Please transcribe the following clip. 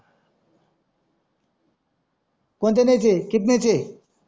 कोन्त्यानेचे